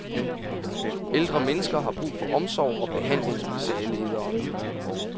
Ældre mennesker har brug for omsorg og behandling, sagde lederen.